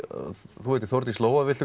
þú heitir Þórdís Lóa viltu